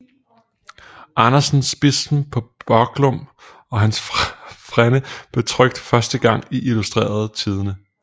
Andersens Bispen paa Børglum og hans Frænde blev trykt første gang i Illustreret Tidende